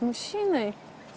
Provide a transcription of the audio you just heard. мужчиной